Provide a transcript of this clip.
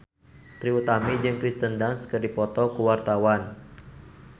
Trie Utami jeung Kirsten Dunst keur dipoto ku wartawan